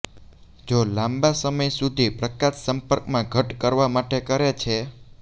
જો લાંબા સમય સુધી પ્રકાશ સંપર્કમાં ઘટ્ટ કરવા માટે કરે છે